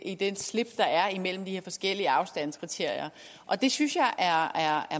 i det slip der er imellem de her forskellige afstandskriterier og det synes jeg er